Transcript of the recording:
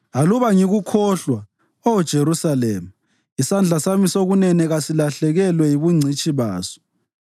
Aluba ngikukhohlwa, Oh Jerusalema, isandla sami sokunene kasilahlekelwe yibungcitshi baso.